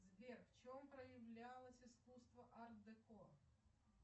сбер в чем проявлялось искусство арт деко